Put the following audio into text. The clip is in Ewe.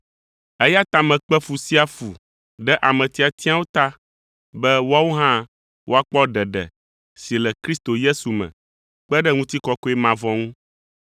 Eya ta mekpe fu sia fu ɖe ame tiatiawo ta be woawo hã woakpɔ ɖeɖe si le Kristo Yesu me kpe ɖe ŋutikɔkɔe mavɔ ŋu.